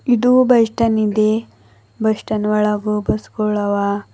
ಇದು bus stand ಇದೆ bus stand ಒಳಗು ಬಸ್ ಗೋಳವ--